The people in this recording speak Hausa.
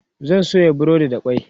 zan soya breadi da kwai